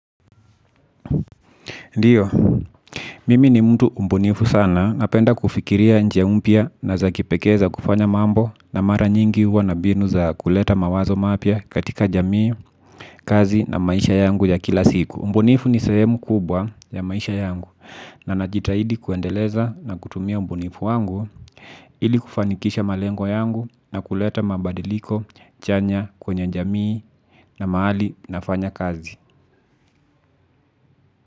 Ndiyo, mimi ni mtu mbunifu sana napenda kufikiria njia mpya na za kipekee za kufanya mambo na mara nyingi huwa na mbinu za kuleta mawazo mapya katika jamii, kazi na maisha yangu ya kila siku. Mbunifu ni sehemu kubwa ya maisha yangu na najitahidi kuendeleza na kutumia ubunifu wangu ili kufanikisha malengo yangu na kuleta mabadiliko chanya kwenye jamii na mahali nafanya kazi.